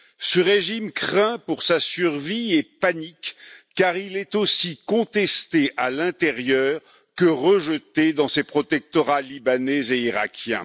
ce régime craint pour sa survie et panique, car il est aussi contesté à l'intérieur que rejeté dans ses protectorats libanais et irakien.